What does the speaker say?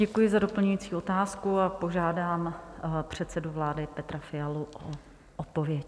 Děkuji za doplňující otázku a požádám předsedu vlády Petra Fialu o odpověď.